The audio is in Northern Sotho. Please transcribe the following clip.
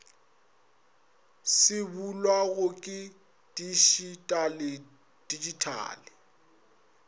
se bulwago ke titšitale digital